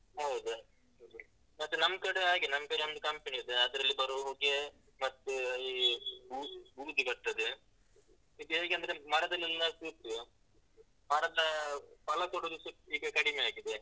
ಹೌದು, ಮತ್ತೆ ನಮ್ಕಡೆ ಹಾಗೆ ನಮ್ಕಡೆ ಒಂದು company ಇದೆ ಅದ್ರಲ್ಲಿ ಬರೊ ಹೊಗೆ ಮತ್ತೆ ಈ ಬೂ~ ಬೂದಿ ಬರ್ತದೆ, ಇದ್ ಹೇಗೆ ಅಂದ್ರೆ ಮರದಲ್ಲೆಲ್ಲ ಕೂತು ಮರದ ಫಲ ಕೊಡುದುಸ ಈಗ ಕಡಿಮೆ ಆಗಿದೆ.